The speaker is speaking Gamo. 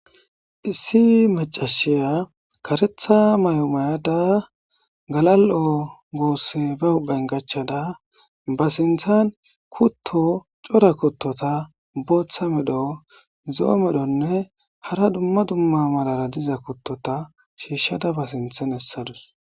issi macashiya karetha may7omayada galal7o goosse ba huban gachada ba sinthan kutto core kuttota booththa medho zo7o medhonne hara dumma dumma malara diza kuttota shiishshada ba sinthan essadus